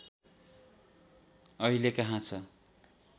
अहिले कहाँ छ